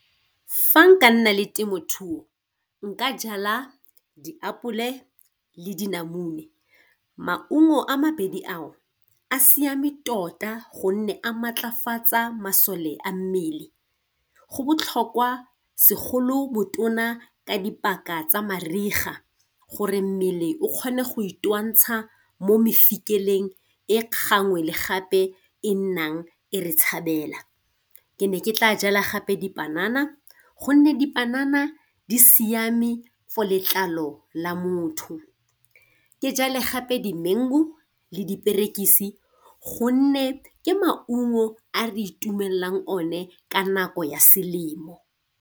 Fa nka nna le temothuo nka jala diapole le dinamune. Maungo a mabedi ao a siame tota gonne a maatlafatsa masome a mmele, go botlhokwa segolo bo tona ka dipaka tsa mariga gore mmele o kgone go itwantsha mo mafikeleng e gangwe le gape e nnang e re tshabela. Ke ne ke tla jala gape dipanana gonne dipanana di siame for letlalo la motho. Ke jale gape dimengu le diperekisi gonne ke maungo a re itumelela o ne ka nako ya selemo.